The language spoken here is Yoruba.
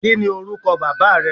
Kí ni orúkọ baba rẹ?